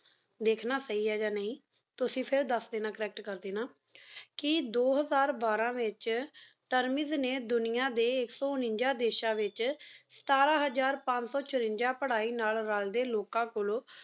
ਧ੍ਖਣਾ ਸਹੀ ਹੈਂ ਯਾ ਨਹੀ ਤੇਸੀ ਫੇਰ ਦਸ ਦੇਣਾ Correct ਕਰ ਦੇਣਾ ਕੀ ਦੋ ਹਜ਼ਾਰ ਬਾਰਾਂ ਵੇਚ ਤੇਰ੍ਮਿਸ ਨੀ ਦੁਨੀਆਂ ਡੀ ਏਕ ਸ੍ਪ ਉਨਾਜਾ ਡੇਸ਼ਨ ਵੇਚ ਸਤਰੰ ਹਜ਼ਾਰ ਪੰਸੋ ਚ੍ਰਾਂਜਾ ਪਢ਼ਾਈ ਨਾਲ ਰਲਦੀ ਲੋਕਾਂ ਕੋਲੁਨ